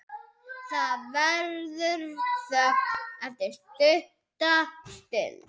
Það verður þögn stutta stund.